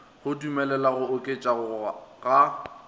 go dumelela go oketšego ga